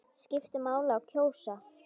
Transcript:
Skiptir máli að kjósa?